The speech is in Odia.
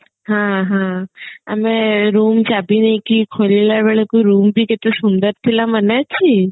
ହଁ ହଁ ଆମେ room ଚାବି ନେଇକି ଖୋଲିଲା ବେଳକୁ room ବି କେତେ ସୁନ୍ଦର ଥିଲା ମନେ ଅଛି